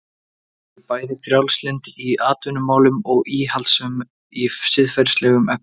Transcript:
Þau eru bæði frjálslynd í atvinnumálum og íhaldssöm í siðferðilegum efnum.